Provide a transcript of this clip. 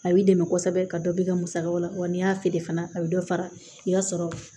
A b'i dɛmɛ kosɛbɛ ka dɔ b'i ka musakaw la wa n'i y'a feere fana a bɛ dɔ fara i b'a sɔrɔ